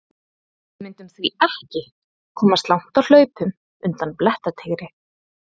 Við mundum því ekki komast langt á hlaupum undan blettatígri!